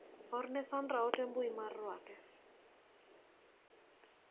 Orne Sandra ote mbui mar ruake.